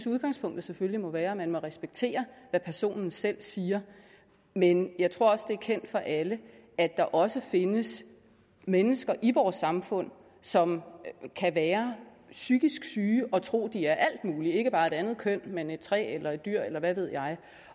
udgangspunktet selvfølgelig må være at man må respektere hvad personen selv siger men jeg tror også at det er kendt for alle at der også findes mennesker i vores samfund som kan være psykisk syge og tro at de er alt muligt ikke bare et andet køn men et træ eller et dyr eller hvad ved jeg